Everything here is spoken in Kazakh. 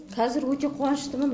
қазір өте қуаныштымын